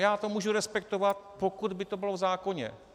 Já to můžu respektovat, pokud by to bylo v zákoně.